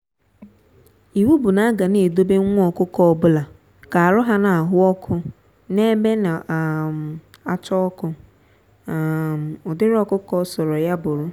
iwu bu na a ga na-edobe nwa-ọkụkọ obula ka arụ ha n'aha ọkụ n'ebe na um acha ọkụ um ụdịrị ọkụkọ ọsọrọ ya bụrụ.